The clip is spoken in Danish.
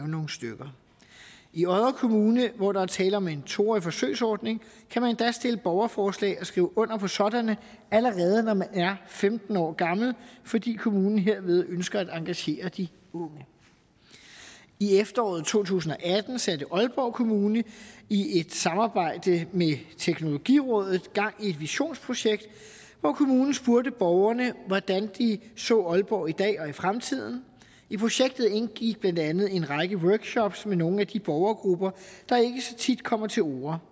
nogle stykker i odder kommune hvor der er tale om en to årig forsøgsordning kan man endda stille borgerforslag og skrive under på sådanne allerede når man er femten år gammel fordi kommunen herved ønsker at engagere de unge i efteråret to tusind og atten satte aalborg kommune i et samarbejde med teknologirådet gang i et visionsprojekt hvor kommunen spurgte borgerne hvordan de så aalborg i dag og i fremtiden i projektet indgik blandt andet en række workshops med nogle af de borgergrupper der ikke så tit kommer til orde